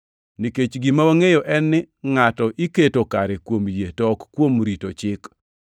Nikech gima wangʼeyo en ni ngʼato iketo kare kuom yie to ok kuom rito Chik.